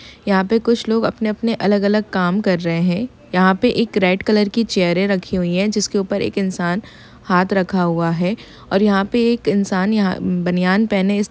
यहाँ पे कुछ लोग अपने-अपने अलग-अलग काम कर रहें है यहाँ पे एक रेड कलर की चेयरें रखी हुई है जिसके ऊपर एक इनसान हाथ रखा हुआ है और यहाँ पे एक इनसान यहाँ बनियान पहने इस --